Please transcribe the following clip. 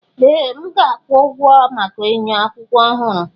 Ee! M ga-akwụ ụgwọ maka enyo akụkụ ọhụrụ.